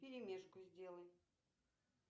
вперемешку сделай